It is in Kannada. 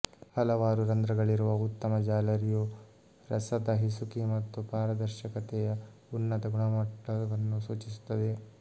ಹಲವಾರು ರಂಧ್ರಗಳಿರುವ ಉತ್ತಮ ಜಾಲರಿಯು ರಸದ ಹಿಸುಕಿ ಮತ್ತು ಪಾರದರ್ಶಕತೆಯ ಉನ್ನತ ಗುಣಮಟ್ಟವನ್ನು ಸೂಚಿಸುತ್ತದೆ